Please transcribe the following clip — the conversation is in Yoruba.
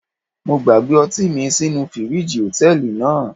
Mo gbàgbé ọtí mi sínú fíríjì Hòtẹ́lìì náà.